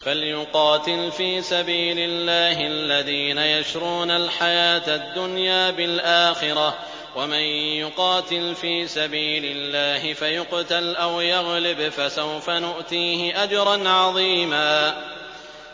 ۞ فَلْيُقَاتِلْ فِي سَبِيلِ اللَّهِ الَّذِينَ يَشْرُونَ الْحَيَاةَ الدُّنْيَا بِالْآخِرَةِ ۚ وَمَن يُقَاتِلْ فِي سَبِيلِ اللَّهِ فَيُقْتَلْ أَوْ يَغْلِبْ فَسَوْفَ نُؤْتِيهِ أَجْرًا عَظِيمًا